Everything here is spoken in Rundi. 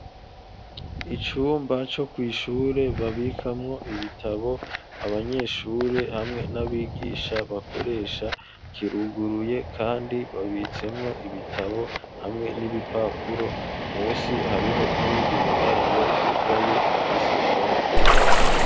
Icumba cyo ku ishure babikamwo ibitabo abanyeshure hamwe n'abigisha bakoresha kiruguruye kandi babitsemwo ibitabo hamwe n'ibipapuro musi hariho n'iyindi miryango yugaye ifise ibara ryera.